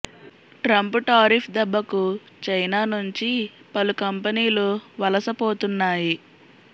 Trump tariff దెబ్బకు China నుంచి పలు కంపెనీలు వలస పోతున్నాయి